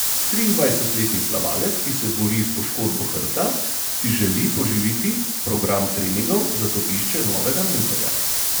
Triindvajsetletni plavalec, ki se bori s poškodbo hrbta, si želi poživiti program treningov, zato išče novega mentorja.